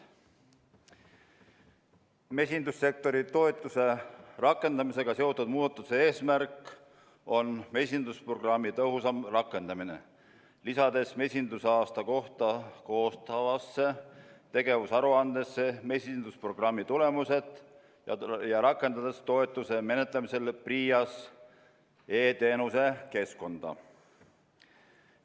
Mesindussektori toetuse rakendamisega seotud muudatuste eesmärk on mesindusprogrammi tõhusam rakendamine, lisades mesindusaasta kohta koostatavasse tegevusaruandesse mesindusprogrammi tulemused ja rakendades toetuse menetlemisel PRIA-s e-teenuse keskkonda.